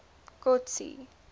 kotsi